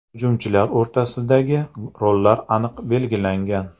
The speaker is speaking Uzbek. Hujumchilar o‘rtasidagi rollar aniq belgilangan.